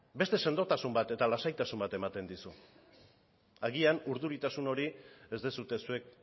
beste sendotasun bat eta lasaitasun bat ematen dizu agian urduritasun hori ez duzue zuek